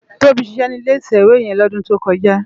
Tobi ṣiṣè ni ilé itèwé yèn lódùn tókòjá